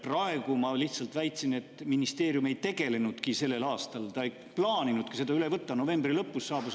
Praegu ma lihtsalt väitsin, et ministeerium ei tegelenudki sellel aastal sellega, ta ei plaaninudki seda üle võtta.